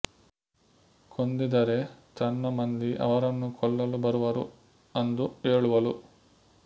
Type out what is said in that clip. ಕೊಂದಿದರೆ ತನ್ನ ಮಂದಿ ಅವರನ್ನು ಕೊಲ್ಲಲು ಬರುವರು ಅಂದು ಹೆಳುವಳು